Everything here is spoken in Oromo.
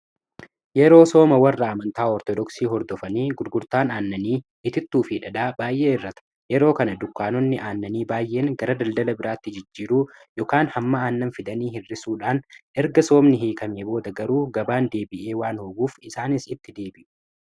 . Yeroo sooma warra amantaa oortoodooksii hordofanii gurgurtaan aannanii, itittuu f dhadhaa baay'ee hir'ata. yeroo kana dukkaanonni aannanii baay'een gara daldala biraatti jijjiiruu yookaan hamma aannan fidanii hirrisuudhaan erga soomni hiikamee booda garuu gabaan deebi'ee waan hoguuf isaanis itti deebi'u